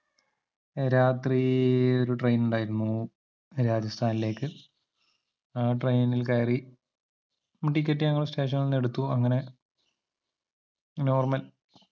രാത്രീ ഒരു train ഉണ്ടായിരുന്നു രാജസ്ഥാനിലേക്ക് ആ train നിൽ കയറി ticket ഞങ്ങൾ station നിൽ എടുത്തു അങ്ങനെ normal